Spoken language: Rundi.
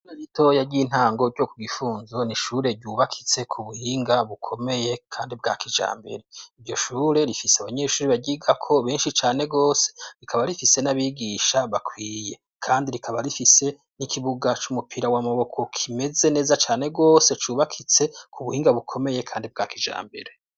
Ishure ritoya ry'intango ryo ku Gifunzo n'ishure ryubakitse ku buhinga bukomeye kandi bwa kijambere, iryo shure rifise abanyeshuri baryigako benshi cane gose rikaba rifise n'abigisha bakwiye, kandi rikaba rifise n'ikibuga c'umupira w'amaboko kimeze neza cane gose cubakitse ku buhinga bukomeye kandi bwa kijambere.